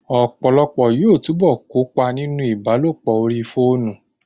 Ọ̀pọ̀lọpọ̀ yóò túbọ̀ kópa nínú ìbálòpọ̀ orí fóònù